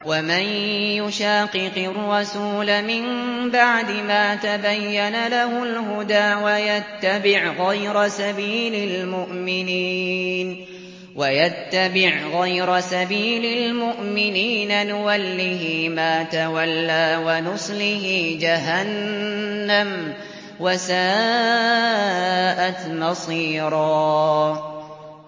وَمَن يُشَاقِقِ الرَّسُولَ مِن بَعْدِ مَا تَبَيَّنَ لَهُ الْهُدَىٰ وَيَتَّبِعْ غَيْرَ سَبِيلِ الْمُؤْمِنِينَ نُوَلِّهِ مَا تَوَلَّىٰ وَنُصْلِهِ جَهَنَّمَ ۖ وَسَاءَتْ مَصِيرًا